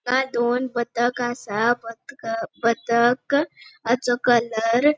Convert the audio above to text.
आंगा दोन बदक आसा बदक बदक आचो कलर ----